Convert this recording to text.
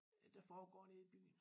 Der foregår nede i byen